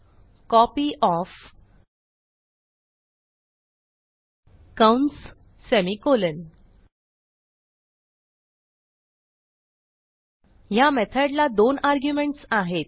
कॉपयॉफ कंस सेमिकोलॉन ह्या मेथडला दोन आर्ग्युमेंट्स आहेत